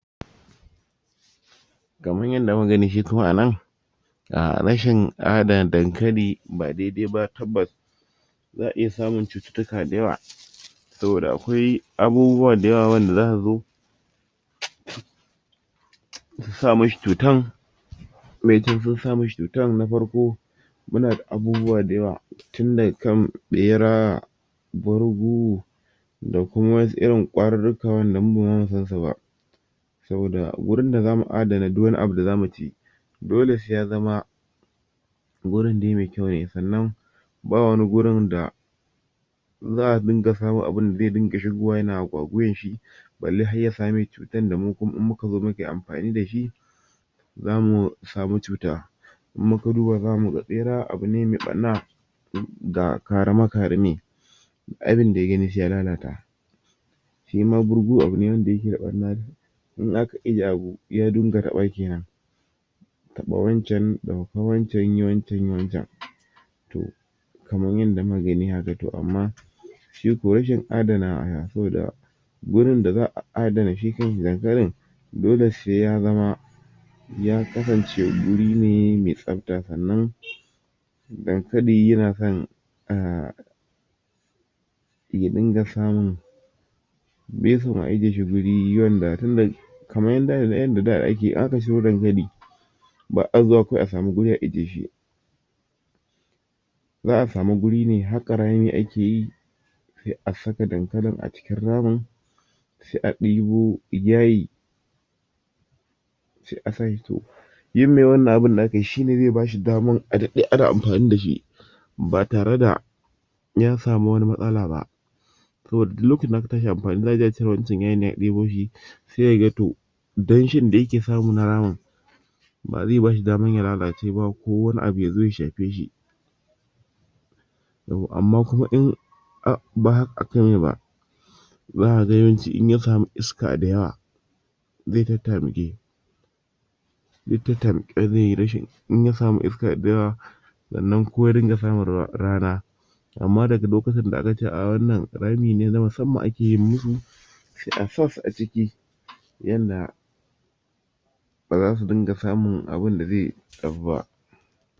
Kamar yadda muka gani, shi kuma anan um rashin adana dankali ba dai-dai-dai ba, tabbas za'a iya samun cututtuka da yawa saboda akwai abubuwa da yawa wanda za su zo su sami shi. Cutan baccin sun sa mishi cutan na farko. Muna da abubuwa da yawa tun daga kan baira, burgu da wasu irin kwarirrika wanda mu ba za mu san su ba saboda wurin da za mu adana duk wani bun da za muci dole sai ya zama wurin dai mai kyau ne sannan ba wani gurin da za'a dunga samun abun da zai dinga shigowa ya na gwaguyan shi balle balle har ya sa mai cutan da mu. Kuma in muka zo muka yi amfani da shi za mu sami cuta in muka duba za muga bera abu ne mai ɓanna ga karime-karimai duk abin da ya gani sai ya lalata. Shi ma burgu abu ne wanda yake da barna in aka ajje abu ya dunga tiba kenan taba wancan dauka wancan yi wancan yi wancan to kamar yadda muka gani. To amma shi ko rashin adana so saboda wurin da za'a adana shi kanshi dankalin dole sai ya zama ya kasance wuri ne mai tsabta. Sannan dankali ya na san um ya dinga samun, bai so a ajjiye shi wuri gunda kamar kar da yadda ake, in aka sayo dankali ba a zuwa kawai a samu wuri a ajje shi. Za'a samu guri ne, haka rami ake yi sai a saka dankalin a cikin ramin sai a dibo yayi sai a sahi to yin mai wannan abu da aka yi shi ne zai bashi daman a dade ana amfani da shi ba tare da ya samu wani matsala ba. Saboda duk lokacin da aka tashi amfani za'a je a cire wancan yayin ne a debo shi sai ka ga to danshin da yake samu na ramin ba zai bashi daman ya lalace ba ko wani abu ya zo ya shafe shi. Amma kuma in in ba hakan akai mai ba za ka ga yanci in ya sami iska da yawa zai tattamike zai tattamike zai yi rashin in ya samu iska da yawa sannan kuma ya dinga samun rana amma daga lokacin a wannan rami ne na musamman ake musu sai a sa su a ciki yadda ba za su rinka samu a bin da zai tabu ba.